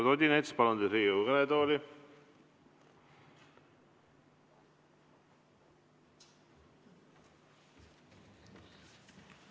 Eduard Odinets, palun teid Riigikogu kõnetooli!